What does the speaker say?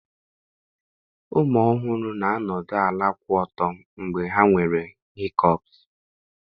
Ụmụ ọhụrụ na-anọdụ ala kwụ ọtọ mgbe ha nwere hikọpsị